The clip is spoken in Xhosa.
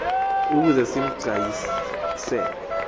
ukuze sim gcayisele